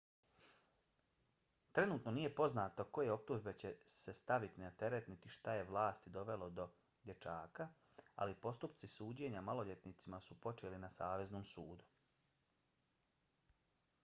trenutno nije poznato koje optužbe će se staviti na teret niti šta je vlasti dovelo do dječaka ali postupci suđenja maloljetnicima su počeli na saveznom sudu